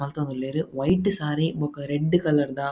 ಮಲ್ತೊಂದುಲ್ಲೆರ್ ವೈಟ್ ಸಾರಿ ಬೊಕ red colour ದ--